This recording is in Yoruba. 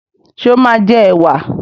Ṣé o máa jẹ ẹwà?